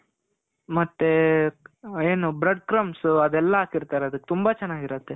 ಮತ್ತೆ ಏನು bread crumps ಅದೆಲ್ಲ ಹಾಕಿರ್ತಾರದಕ್ಕೆ. ತುಂಬಾ ಚೆನಾಗಿರುತ್ತೆ.